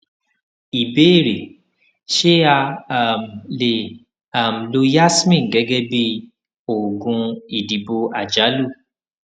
ìbéèrè ṣé a um lè um lo yasmin gégé bí oògùn ìdìbò àjálù